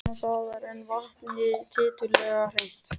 Annars staðar er vatnið tiltölulega hreint.